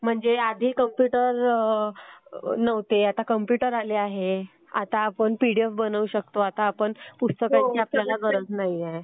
म्हणजे आधी कॉम्प्युटर नव्हते आता कॉम्प्युटर आले आहेत. आता आपण पीडीएफ बनवू शकतो. आता आपण पुस्तकाची आपल्याला गरज नाहीए